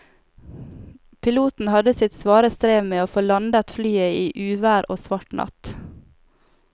Piloten hadde sitt svare strev med å få landet flyet i uvær og svart natt.